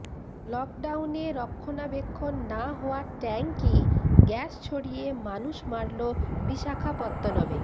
লকডাউনে রক্ষণাবেক্ষণ না হওয়া ট্যাঙ্কই গ্যাস ছড়িয়ে মানুষ মারল বিশাখাপত্তনমে